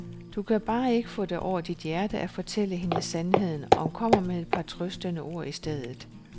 Du kan bare ikke få det over dit hjerte at fortælle hende sandheden og kommer med et par trøstende ord i stedet.